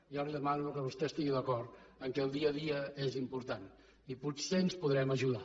jo li demano que vostè estigui d’acord que el dia a dia és important i potser ens podrem ajudar